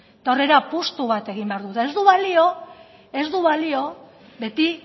eta hor ere apustu bat egin behar dugu eta ez du balio ez du balio beti